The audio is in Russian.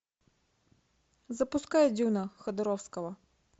запускай дюна ходоровского